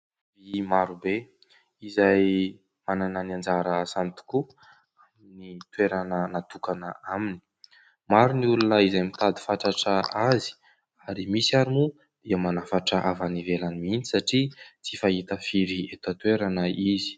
Vy marobe izay manana ny anjara asany tokoa, ny toerana natokana aminy. Maro ny olona izay mitady fatratra azy ary misy ary moa dia manafatra avy any ivelany mintsy satria tsy fahita firy eto an-toerana izy.